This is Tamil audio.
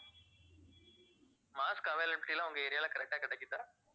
mask availability லாம் உங்க area ல correct அ கிடைக்குதா